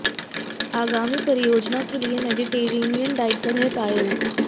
आगामी परियोजना के लिए मेडिटेरेनियन डाइट पर हैं पायल